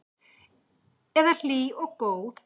Eða hlý og góð?